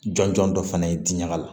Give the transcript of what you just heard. Jɔn jɔn dɔ fana ye diɲɛkala